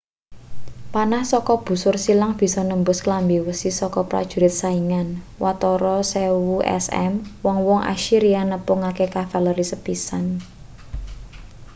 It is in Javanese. panah saka busur silang bisa nembus klambi wesi saka prajurit saingan watara 1000 sm wong-wong assyria nepungake kavaleri sepisan